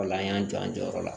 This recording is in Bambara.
Ola an y'an jɔ an jɔyɔrɔ la